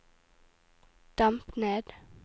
demp ned